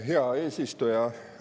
Hea eesistuja!